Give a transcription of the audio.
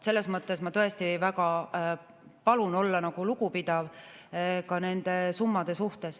Selles mõttes ma tõesti väga palun olla lugupidav ka nende summade suhtes.